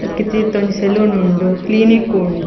ನೆಕ್ಕ್ ತೀರ್ತ ಒಂಜಿ ಸೆಲೂನ್ ಉಂಡು ಕ್ಲೀನಿಕ್ ಉಂ --